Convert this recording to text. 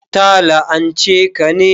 Ta la'anche ka ne?